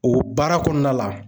O baara kɔnɔna la